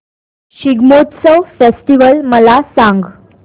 Shigmotsav festival मला सांग